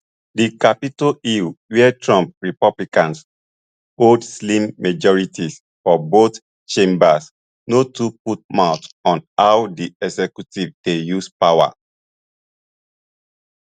di capitol hill wia trump republicans hold slim majorities for both chambers no too put mouth on how di executive dey use power